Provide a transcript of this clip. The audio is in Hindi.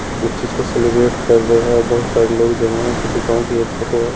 उस चीज को सेलिब्रेट कर रहे हैं और बहुत सारे लोग जमा हैं किसी गांव की यह फोटो है।